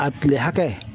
A kile hakɛ